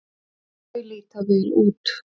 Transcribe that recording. Þau líta vel út.